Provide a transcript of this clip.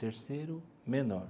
Terceiro menor.